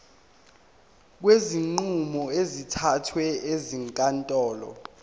kwezinqumo ezithathwe ezinkantolo